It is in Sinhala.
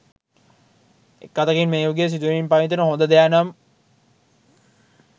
එක් අතකින් මේ යුගයේ සිදුවෙමින් පවතින හොඳ දෙයනම්